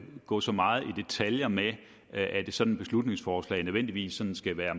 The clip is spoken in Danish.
gå så meget i detaljer med at et sådant beslutningsforslag nødvendigvis skal være